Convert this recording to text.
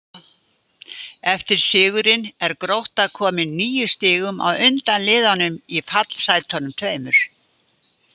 Eftir sigurinn er Grótta komin níu stigum á undan liðunum í fallsætunum tveimur.